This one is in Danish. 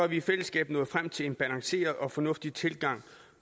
vi i fællesskab nået frem til en balanceret og fornuftig tilgang